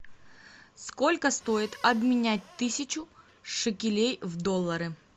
сколько стоит обменять тысячу шекелей в доллары